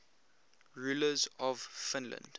rulers of finland